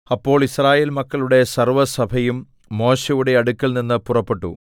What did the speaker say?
അപ്പോൾ യിസ്രായേൽ മക്കളുടെ സർവ്വസഭയും മോശെയുടെ അടുക്കൽനിന്ന് പുറപ്പെട്ടു